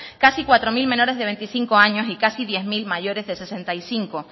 casi cuatro mil menores de veinticinco años y casi diez mil mayores de sesenta y cinco